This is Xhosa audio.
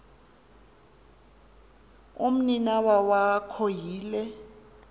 umninawa wakho yile